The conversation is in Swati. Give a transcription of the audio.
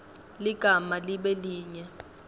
ligama libe linye